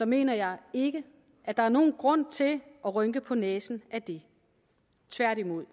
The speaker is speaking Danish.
mener jeg ikke at der er nogen grund til at rynke på næsen af det tværtimod